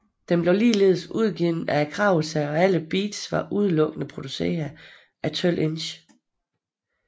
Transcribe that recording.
Den blev ligeledes udgivet af Kragetæer og alle beats var udelukkende produceret af 12Inch